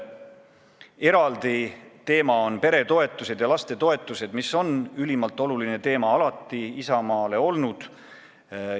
Eraldi teema on peretoetused ja lastetoetused, mis on ülimalt oluline teema Isamaale alati olnud.